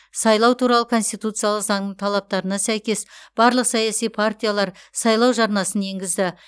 сайлау туралы конституциялық заңның талаптарына сәйкес барлық саяси партиялар сайлау жарнасын енгізді